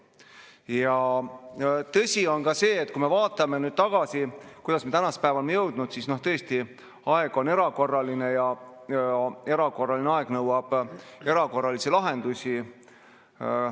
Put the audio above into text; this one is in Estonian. Ja tõsi on ka see, et kui me vaatame tagasi, kuidas me tänase päevani oleme jõudnud, siis tõesti, aeg on erakorraline ja erakorraline aeg nõuab erakorralisi lahendusi.